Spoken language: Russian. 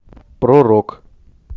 про рок